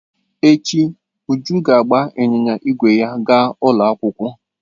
Echi, Uju ga-agba ịnyịnya ígwè ya gaa ụlọ akwụkwọ.